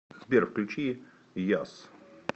сбер включи яз